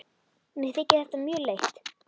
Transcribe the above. Mér þykir þetta mjög leitt.